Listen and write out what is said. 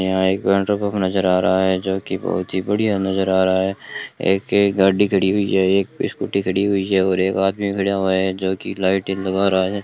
यहां एक petrol pump नजर आ रहा है जो की बहुत ही बढ़िया नजर आ रहा है एक गाड़ी खड़ी हुई है एक स्कूटी खड़ी हुई है और एक आदमी खड़ा हुआ है जो की लाइटें लग रहा है।